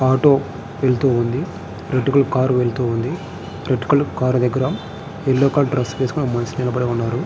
Auto వెళ్తుంది red colour car red colour car దగ్గర yellow colour dress వేసుకొని ఒక మనిషి నిలబడి ఉన్నారు.